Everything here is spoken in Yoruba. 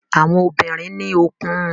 Àwọn obìnrin ní òkun.